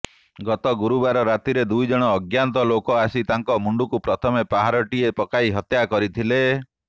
ଗତ ଗୁରୁବାର ରାତିରେ ଦୁଇଜଣ ଅଜ୍ଞାତ ଲୋକ ଆସି ତାଙ୍କ ମୁଣ୍ଡକୁ ପ୍ରଥମେ ପାହାରଟିଏ ପକାଇ ହତ୍ୟା କରିଥିଲେ